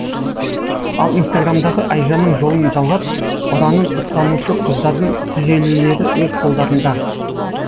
ал инстаграмдағы айжанның жолын жалғап ұранын ұстанушы қыздардың түзелулері өз қолдарында